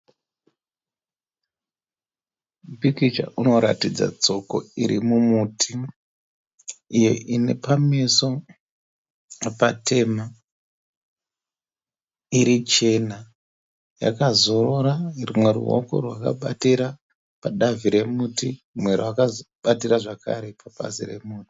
Pikicha unoratidza tsoko iri mumuti iyo ine pameso patema iri chena. Yakazorora rumwe ruoko rwakabatira pabazi romuti rumwe rakabatira zvakare pabazi romuti.